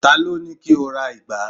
ta lo ni ki o ra ìgbá